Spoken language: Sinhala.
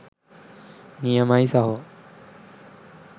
නියමයි සහෝ